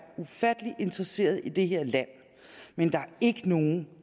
ufattelig interesserede i det her land men der er ikke nogen